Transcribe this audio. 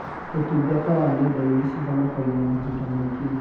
ũtungata wa nenda-inĩ cihonokagia mahinda maingĩ.